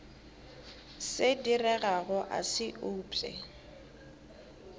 se diregago a se upše